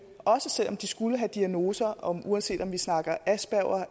også selv om de skulle have diagnoser og uanset om vi snakker aspergers